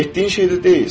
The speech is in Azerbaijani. Etdiyin şey də deyilsən.